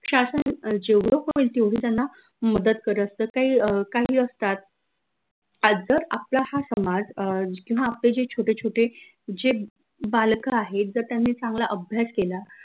शासन जेवढं होईल तेवढी त्यांना मदत करत असत काई काही असतात आज जर आपला हा समाज अं किंव्हा आपले जे छोटे छोटे जे बालक आहे एकदा त्यांनी चांगला अभ्यास केला.